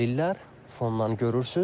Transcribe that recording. Fonddan görürsüz.